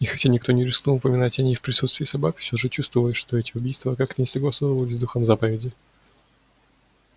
и хотя никто не рискнул упоминать о ней в присутствии собак всё же чувствовалось что эти убийства как-то не согласовывались с духом заповеди